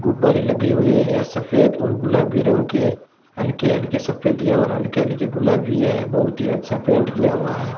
गुब्बारे लगे हुए हैं सफेद और गुलाबी रंग के हल्के हल्के सफेद और हल्के हल्के गुलाबी है बहुत ही अच्छा पेंट किया हुआ है।